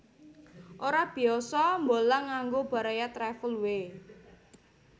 Ora biyasa mbolang nganggo Baraya Travel we